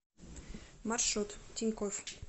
маршрут тинькофф